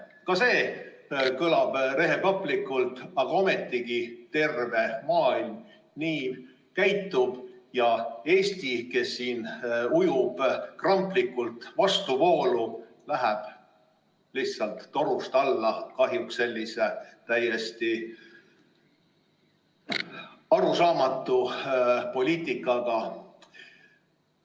Ka see kõlab rehepaplikult, aga ometigi terve maailm käitub nii ja Eesti, kes ujub kramplikult vastuvoolu, läheb kahjuks sellise täiesti arusaamatu poliitikaga lihtsalt torust alla.